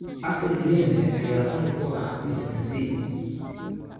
Casiir liin leh ayaa qani ku ah fitamiin C.